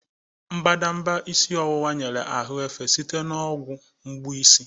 Mbadamba isi ọwụwa nyere ahụ efe site na ọgwụ mgbu isi.